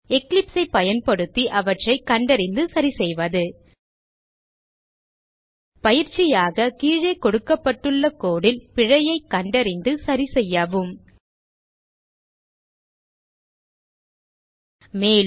Eclipse ஐ பயன்படுத்தி அவற்றை கண்டறிந்து சரிசெய்வது பயிற்சியாக கீழே கொடுக்கப்பட்டுள்ள code ல் பிழையைக் கண்டறிந்து சரிசெய்யவும் மேலும்